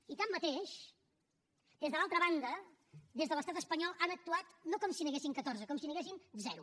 i tanmateix des de l’altra banda des de l’estat espanyol han actuat no com si n’hi haguessin catorze com si n’hi haguessin zero